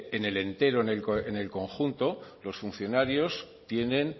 en el entero en el conjunto los funcionarios tienen